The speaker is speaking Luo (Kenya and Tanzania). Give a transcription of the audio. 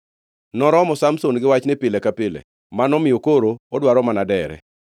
Noromo Samson gi wachni pile ka pile manomiyo koro odwaro mana dere.